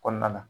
Kɔnɔna na